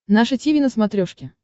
наше тиви на смотрешке